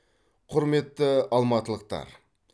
құрметті алматылықтар